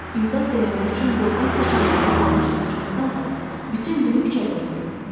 İmdad diləmək üçün yoldan keçənlərin dalınca qaçmaqdansa, bütün günü küçədə oturdum.